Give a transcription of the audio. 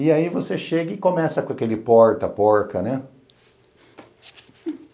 E aí você chega e começa com aquele porta porca, né?